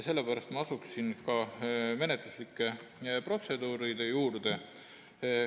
Sellepärast asun menetluslike otsuste juurde.